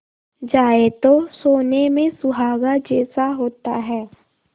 जाए तो सोने में सुहागा जैसा होता है